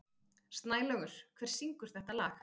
Snælaugur, hver syngur þetta lag?